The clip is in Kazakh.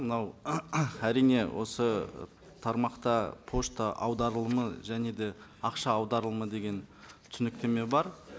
мынау әрине осы ы тармақта пошта аударылымы және де ақша аударылымы деген түсініктеме бар